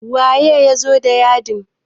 waye ya zo da yadin?